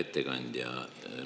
Hea ettekandja!